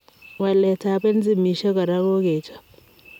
Waleet ap enzaimisiek koraa kokechop.